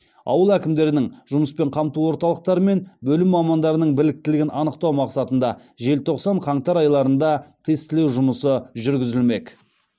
ауыл әкімдерінің жұмыспен қамту орталықтары мен бөлім мамандарының біліктілігін анықтау мақсатында желтоқсан қаңтар айларында тестілеу жұмысы жүргізілмек